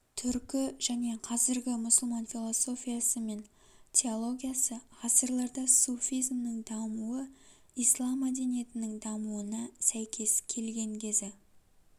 түркі және қазіргі мұсылман философиясы мен теологиясы ғасырларда суфизмнің дамуы ислам мәдениетінің дамуына сәйкес келген кезі